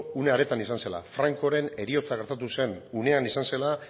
une hartan izan zela francoren heriotza gertatu zen unean izan zela